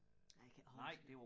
Nej jeg kan ikke huske det